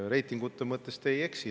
Reitingute mõttes te ei eksi.